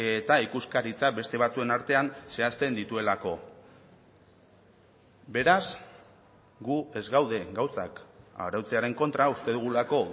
eta ikuskaritza beste batzuen artean zehazten dituelako beraz gu ez gaude gauzak arautzearen kontra uste dugulako